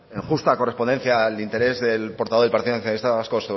en justa correspondencia al interés del portavoz del partido nacionalista vasco